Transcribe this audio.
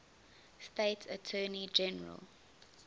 state attorney general